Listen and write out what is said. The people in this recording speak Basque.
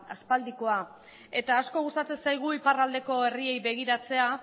aspaldikoa eta asko gustatzen zaigu iparraldeko herriei begiratzea